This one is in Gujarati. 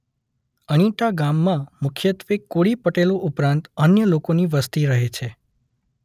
અણીટા ગામમાં મુખ્યત્વે કોળી પટેલો ઉપરાંત અન્ય લોકોની વસ્તી રહે છે.